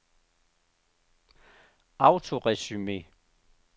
autoresume